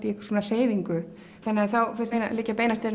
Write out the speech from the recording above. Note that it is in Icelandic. í einhvers konar hreyfingu þá finnst mér liggja beinast við